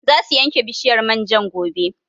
Za su yanke bishiyar man jan gobe